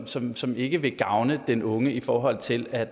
som som ikke vil gavne den unge i forhold til at